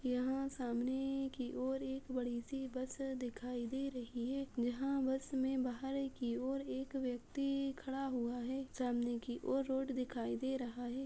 यहाॅं सामने की ओर एक बड़ी सी बस दिखाई दे रही है। जहाॅं बस में बाहर की ओर एक व्यक्ति खड़ा हुआ है सामने की ओर रोड दिखाई दे रहा है।